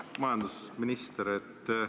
Hea majandusminister!